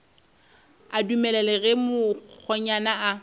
a dumele ge mokgonyana a